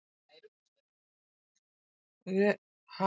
Taldi hann að þegar væri nóg í veröldinni af lélegum bókum.